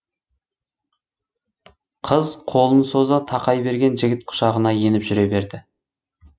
қыз қолын соза тақай берген жігіт құшағына еніп жүре берді